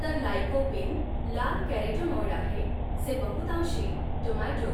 तर लाइकोपीन लाल कॅरोटेनॉइड आहे जे बहुतांशी टोमॅटो